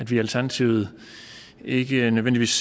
i alternativet ikke nødvendigvis